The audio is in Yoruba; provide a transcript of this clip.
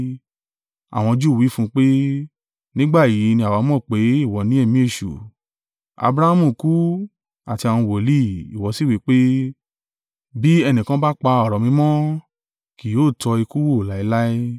Àwọn Júù wí fún un pé, “Nígbà yìí ni àwa mọ̀ pé ìwọ ní ẹ̀mí èṣù. Abrahamu kú, àti àwọn wòlíì; ìwọ sì wí pé, ‘Bí ẹnìkan bá pa ọ̀rọ̀ mi mọ́, kì yóò tọ́ ikú wò láéláé.’